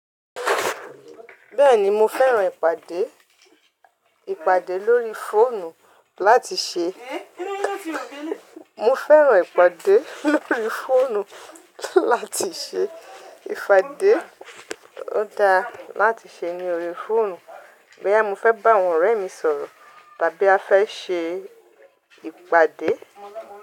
Bẹ́ẹ̀ni mo fẹ́ràn ìpàdé, ìpàdé lórí fóònù láti ṣe, mo fẹ́ràn ìpàdé lórí fóònù láti ṣe ìpàdé ó dáa láti ṣe ní orí fóònù, boya mo fẹ́ bá àwọn ọ̀rẹ́ mi sọ̀rọ̀ tàbí a fẹ́ ṣe ìpàdé.